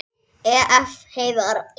Ef. Heiðar